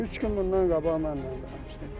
Üç gün bundan qabaq mənlə danışdı.